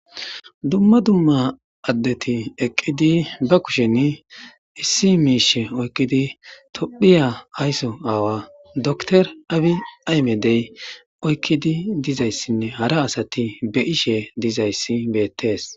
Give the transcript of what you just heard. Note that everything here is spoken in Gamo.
Dumma dumma addeti eqqidi ba kushen issi miishe oykkidi tophiya ayso aawa doktor abi aymedey oykkidi dizayssinne hara asati beyishe dizayssi beettees.